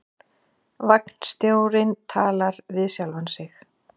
Vagnstjórinn talar við sjálfan sig